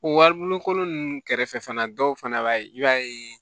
O waribonkolon nunnu kɛrɛfɛ fana dɔw fana b'a ye i b'a ye